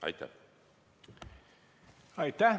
Aitäh!